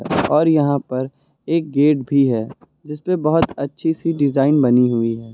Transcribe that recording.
और यहां पर एक गेट भी है जिस पे बहुत अच्छी सी डिजाइन बनी हुई है।